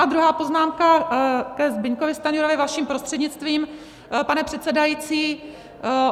A druhá poznámka ke Zbyňkovi Stanjurovi vaším prostřednictvím, pane předsedající.